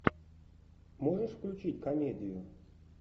можешь включить комедию